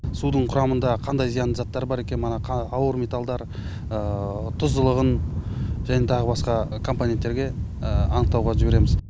судың құрамында қандай зиянды заттар бар екені мана ауыр металдар тұздылығын және тағы басқа компоненттерге анықтауға жібереміз